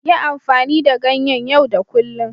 Yi amfani da ganyen yau da kullun.